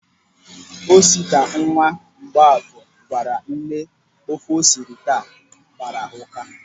Osita, nwa Mgbọafọ, gwara nne ofe o siri taa agbara ụ́ká.